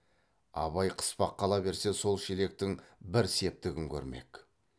абай қыспаққа ала берсе сол шелектің бір септігін көрмек